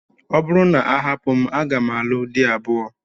Ọ bụrụ na a hapụ m, aga m alụ di abụọ.